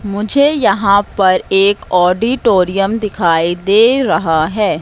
मुझे यहां पर एक ऑडिटोरियम दिखाई दे रहा है।